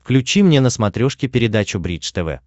включи мне на смотрешке передачу бридж тв